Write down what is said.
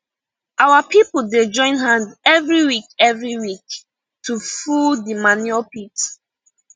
our people dey join hand every week every week to full di manure pit